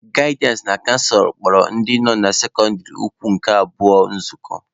Gaịdịansị na canselọ kpọrọ ndị nọ na sekọndịrị ukwu nke abụọ nzukọ.